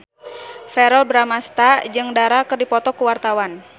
Verrell Bramastra jeung Dara keur dipoto ku wartawan